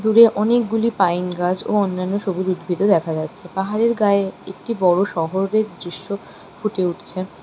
দূরে অনেকগুলি পাইন গাছ ও অন্যান্য সবুজ উদ্ভিতও দেখা যাচ্ছে পাহাড়ের গায়ে একটি বড় শহরের দৃশ্য ফুটে উঠছে।